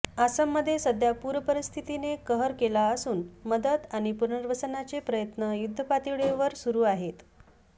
आसाममध्ये सध्या पूरपरिस्थितीने कहर केला असून मदत आणि पुनर्वसनाचे प्रयत्न युद्धपातळीवर सुरू आहेत